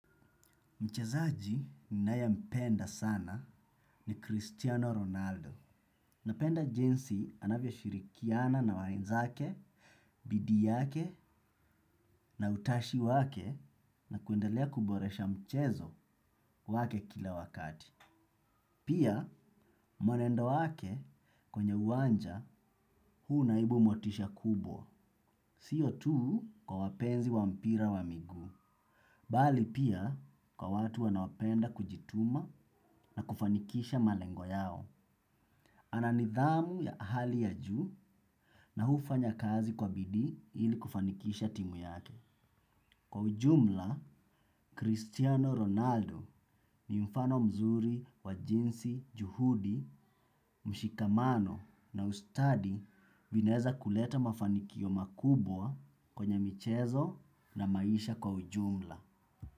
Mchezaji ninayempenda sana ni Cristiano Ronaldo. Napenda jinsi anavyoshirikiana na wenzake, bidii yake na utashi wake na kuendelea kuboresha mchezo wake kila wakati. Pia mwenendo wake kwenye uwanja huu naibu motisha kubwa, siyo tu kwa wapenzi wa mpira wa miguu. Bali pia kwa watu wanaopenda kujituma na kufanikisha malengo yao. Ana nidhamu ya hali ya juu na hufanya kazi kwa bidi ili kufanikisha timu yake. Kwa ujumla, Cristiano Ronaldo ni mfano mzuri wa jinsi juhudi, mshikamano na ustadi vinaeza kuleta mafanikio makubwa kwenye michezo na maisha kwa ujumla.